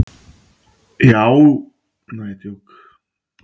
En því ekki?